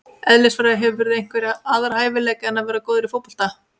Eðlisfræði Hefurðu einhverja aðra hæfileika en að vera góð í fótbolta?